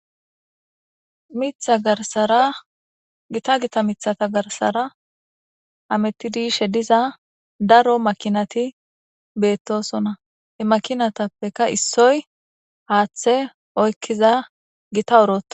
Mitha garsara gita gita mithata garsara amettidishe diza daro makinati beettosona he makinatappeka issoy haaththe oykkiza gita oroo